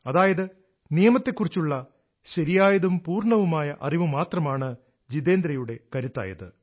അതായത് നിയമത്തെക്കുറിച്ചുള്ള ശരിയായതും പൂർണ്ണവുമായ അറിവ് മാത്രമാണ് ജീതേന്ദ്രയുടെ കരുത്തായത്